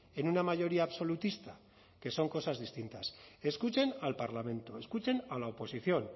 en una mayoría absolutista que son cosas distintas escuchen al parlamento escuchen a la oposición